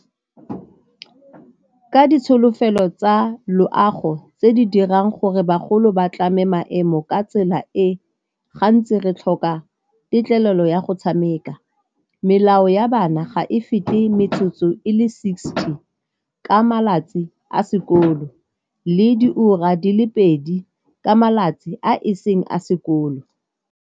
Ka ditsholofelo tsa loago tse di dirang gore bagolo ba tlame maemo ka tsela e, gantsi re tlhoka tetlelelo ya go tshameka, melao ya bana ga e fete metsotso e le sixty ka malatsi a sekolo le di ura di le pedi ka malatsi a e seng a sekolo.